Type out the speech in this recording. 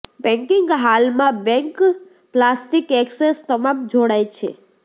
banking હાલમાં bank plastic access તમામ જોડાય છે